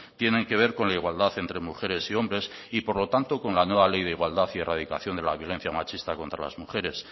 tienen que ver con la igualdad entre mujeres y hombres y por lo tanto con la nueva ley de igualdad y la radicación de la violencia machista contra las mujeres